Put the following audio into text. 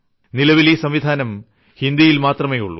നിലവിൽ ഈ സംവിധാനം ഹിന്ദിയിൽ മാത്രമേ ഉള്ളൂ